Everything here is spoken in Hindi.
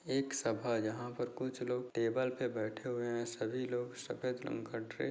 एक सभा यहाँ पर कुछ लोग टेबल पे बैठे हुए हैं सभी लोग सफेद रंग का ड्रे --